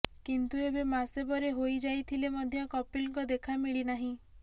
କିନ୍ତୁ ଏବେ ମାସେ ପରେ ହୋଇ ଯାଇଥିଲେ ମଧ୍ୟ କପିଲଙ୍କ ଦେଖା ମିଳିନାହିଁ